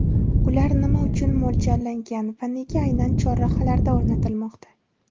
Ular nima uchun mo‘ljallangan va nega aynan chorrahalarda o‘rnatilmoqda?